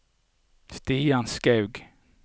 Stian Skaug